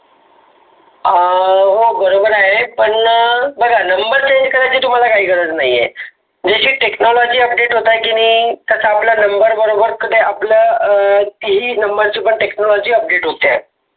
आह हा बरोबर आहे पण बघा number change करायची तुम्हाला काही गरज नाही आहे. ज्याची Technology update होत आहे की नाही. त्याचा आपलं number बरोबर त आपलं तीही number ची Technology update होत आहे.